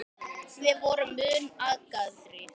Við vorum mun agaðri.